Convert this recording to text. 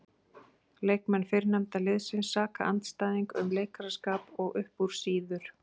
Leikmenn fyrrnefnda liðsins saka andstæðing um leikaraskap og upp úr sýður.